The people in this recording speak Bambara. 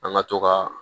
An ka to ka